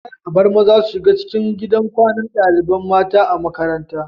Kar abar maza su shiga gidan kwanan ɗalibai mata a makaranta